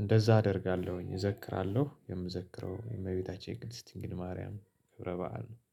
እንደዛ አደርጋለሁኝ እዘክራለሁ የምዘክረው የእመቤታችን የቅድስት ድንግል ማርያም ክብረ በዓል ነው